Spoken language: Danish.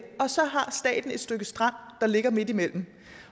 og så har staten et stykke strand der ligger midtimellem